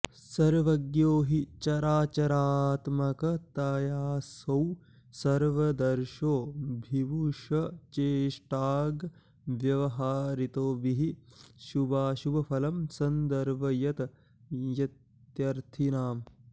सर्वज्ञो हि चराचरात्मकतयासौ सर्वदर्शो विभुश् चेष्टाग्व्याहृतिभिः शुभाशुभफलं सन्दर्शयत्यर्थिनाम्